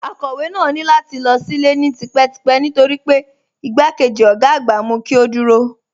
Akọ̀wé náà ní láti lọ sílé ni típetípẹ́ nítorí pé igbákejì ọ̀gá àgbà mú kí ó dúró